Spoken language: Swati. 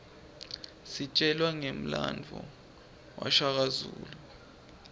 sitjelwa ngemlandvo washaka zulu